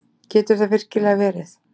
Getur það virkilega verið?